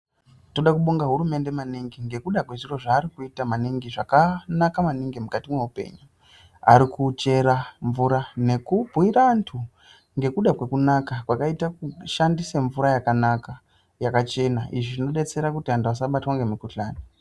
Toda kubonga hurumende maningi ngekuda kwezviro zvaari kuita maningi zvakanaka maningi mukati mweupenyu. Ari kuchera mvura nekubhuyira antu nekuda kwekunaka kwakaita kushandisa mvura yakanaka, yakachena. Izvi zvinodetsera kuti vantu asabatwa ngemukuhlani.